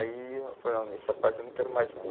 Aí eu falei, não, essa parte eu não quero mais não.